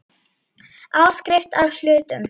Áskrift að hlutum.